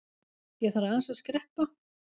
Ég þarf aðeins að skreppa.